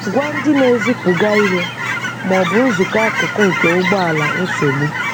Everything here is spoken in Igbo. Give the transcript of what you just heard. Gwa ndị na-ezipuga ihe ma ọ bụ nzukọ akụkụ nke ụgbọala nsogbu.